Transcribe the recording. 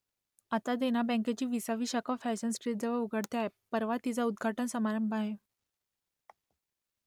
आता देना बँकेची विसावी शाखा फॅशन स्ट्रीटजवळ उघडते आहे परवा तिचा उद्घाटन समारंभ आहे